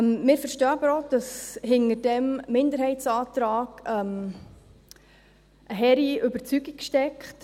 Wir verstehen aber auch, dass hinter diesem Minderheitsantrag eine hehre Überzeugung steckt.